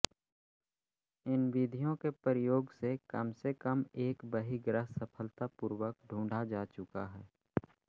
इन विधियों के प्रयोग से कमसेकम एक बहिर्ग्रह सफलतापूर्वक ढूंढा जा चुका है